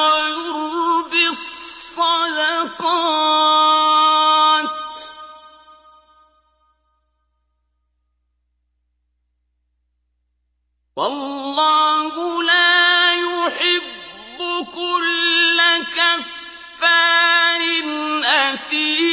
وَيُرْبِي الصَّدَقَاتِ ۗ وَاللَّهُ لَا يُحِبُّ كُلَّ كَفَّارٍ أَثِيمٍ